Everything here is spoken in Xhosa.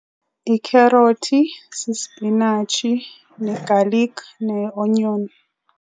Ikherothi, sisipinatshi ne-garlic ne-onion.